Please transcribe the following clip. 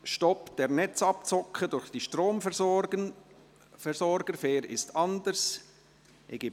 «Stopp der Netzabzocke durch die Stromversorger – Fair ist anders!».